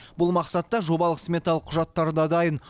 бұл мақсатта жобалық сметалық құжаттары да дайын